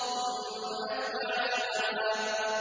ثُمَّ أَتْبَعَ سَبَبًا